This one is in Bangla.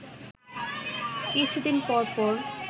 কিছু দিন পর পর